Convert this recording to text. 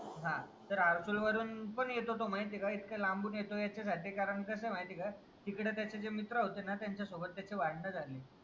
हां तर आरसूल वरून पण येतो तो माहितीये का इतका लांबून येतो ह्याच्यासाठी कारण कसं आहे माहितीये का तिकडे त्याचे मित्र होते ना त्यांच्या सोबत त्याचे भांडणं झाले.